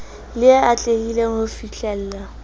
le e atlehileng ho fihlellwa